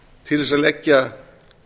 til þess að leggja